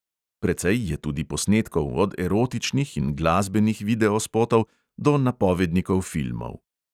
Precej je tudi posnetkov, od erotičnih in glasbenih videospotov do napovednikov filmov.